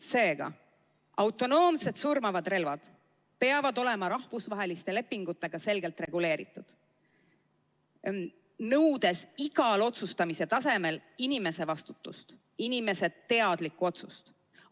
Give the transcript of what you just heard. Seega, autonoomsed surmavad relvad peavad olema rahvusvaheliste lepingutega selgelt reguleeritud, nõudes igal otsustamise tasemel konkreetse inimese vastutust, konkreetse inimese teadlikku otsust.